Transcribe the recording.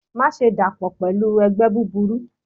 Maṣe dapọ pẹlu ẹgbẹ buburu!